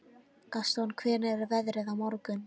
Gaston, hvernig er veðrið á morgun?